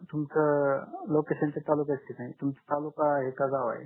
तुमच तर तालुक्या च्या ठिकाणी आहे तुमच तालुका आहे की गाव आहे